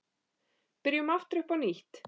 Byrjum aftur upp á nýtt.